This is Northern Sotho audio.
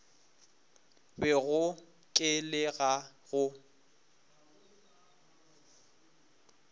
bego ke le ka go